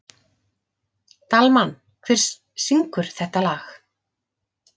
Dalmann, hver syngur þetta lag?